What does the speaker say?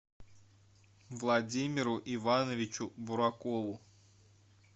владимиру ивановичу буракову